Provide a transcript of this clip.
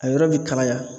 A yɔrɔ bɛ kalaya